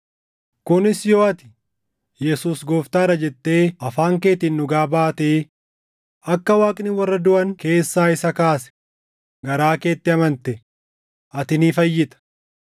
kunis yoo ati, “Yesuus Gooftaa dha” jettee afaan keetiin dhugaa baatee akka Waaqni warra duʼan keessaa isa kaase garaa keetti amante, ati ni fayyita.